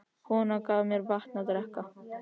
Konan gaf mér vatn að drekka.